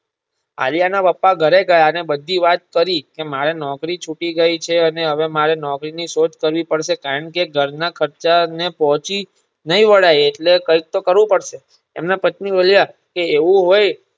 આલ્યના પપ્પા ઘરે ગયા અને બધી વાત કરી મારે નોકરી છુંટી ગઈ છે. અને હવે મારે નોકરી ની શોધ કરવી પડસે કારણ કે ઘરના ખર્ચને પહોંચી નય વળાય એટલે કૈક તો કરવું પડશે એમના પત્ની બોલ્યા કે એવું હોય